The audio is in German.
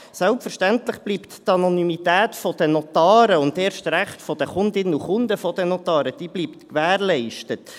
Selbstverständlich bleibt die Anonymität der Notare und erst recht der Kundinnen und Kunden der Notare gewährleistet.